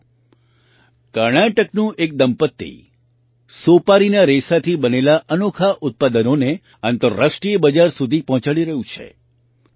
સાથીઓ કર્ણાટકનું એક દંપતી સોપારીના રેસાથી બનેલાં અનોખાં ઉત્પાદનોને આંતરરાષ્ટ્રીય બજાર સુધી પહોંચાડી રહ્યું છે